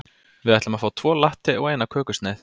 Við ætlum að fá tvo latte og eina kökusneið.